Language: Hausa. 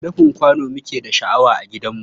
Rufin kwano muke da shi a gidanmu.